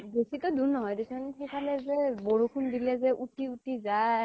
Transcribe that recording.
বেছি তো দুৰ নহয় দে চোন । সিফালে যে বৰষুণ দিলে যে উতি উতি যায় ।